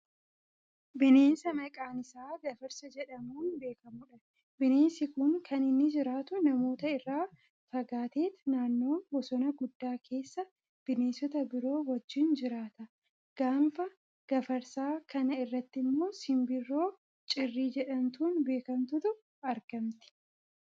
Bineensa maqaan isaa gafarsa jedhamuun beekkamudha. Bineensi kun kan inni jiraatu namoota irraa fagaateet naannoo bosona guddaa keessa bineensota biroo wajjiin jiraata. Gaanfa gafarsaa kana irrattimmoo simbirroo cirrii jedhamtuun beekkamtutu argamti.